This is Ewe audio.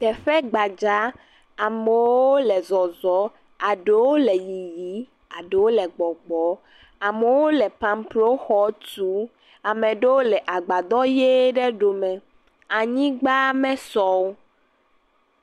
Teƒe gbadza, amewo le zɔzɔ aɖowo le yiyi eɖowo le gbɔgbɔ, ameo le pamploo xɔ tu, ame ɖewo le agbadɔ ʋe ɖe ɖome anyigba mesɔ o.